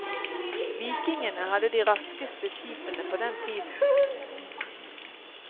Vikingene hadde de raskeste skipene på den tiden.